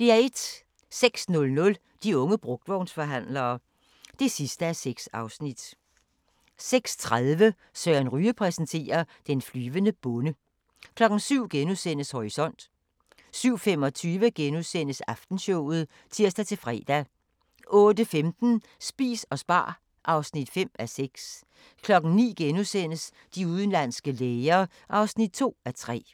06:00: De unge brugtvognsforhandlere (6:6) 06:30: Søren Ryge præsenterer: Den flyvende bonde 07:00: Horisont * 07:25: Aftenshowet *(tir-fre) 08:15: Spis og spar (5:6) 09:00: De udenlandske læger (2:3)*